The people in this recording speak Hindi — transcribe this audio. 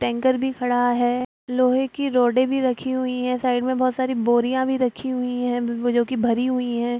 टैंकर भी खड़ा है लोहे की रोडे भी रखी हुई है साइड में बहुत सारी बोरियाँ भी रखी हुई है जो कि भरी हुई हैं।